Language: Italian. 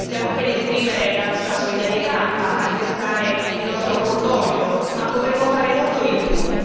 Siamo qua ad esprimere la nostra solidarietà, a manifestare il nostro cordoglio, ma potremmo fare molto di più.